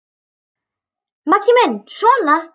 Maggi minn sona!